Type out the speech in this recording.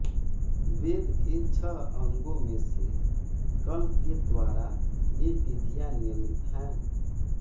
वेद के छह अंगो में से कल्प के द्वारा ये विधियाँ नियमित हैं